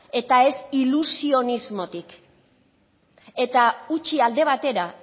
eta ez ilusionismotik eta utzi alde batera